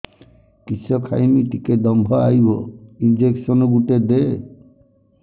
କିସ ଖାଇମି ଟିକେ ଦମ୍ଭ ଆଇବ ଇଞ୍ଜେକସନ ଗୁଟେ ଦେ